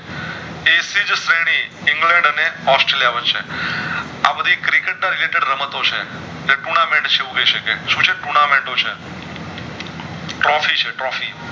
England અને Australia વચ્ચે આબધી cricketer રમતો છે tournament છે એવું કય શકાય સુ છે tournament છે trophy છે trophy